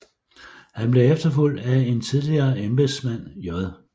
Han blev efterfulgt af en tidligere embedsmand J